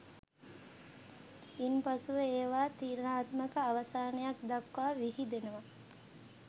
ඉන්පසුව ඒවා තීරණාත්මක අවසානයක් දක්වා විහිදෙනවා